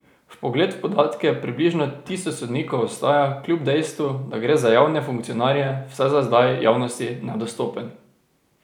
Vpogled v podatke približno tisoč sodnikov ostaja kljub dejstvu, da gre za javne funkcionarje, vsaj za zdaj javnosti nedostopen.